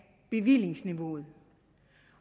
bevillingsniveauet